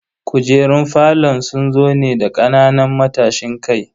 Kujerun falon sun zo ne da kananan matashin kai.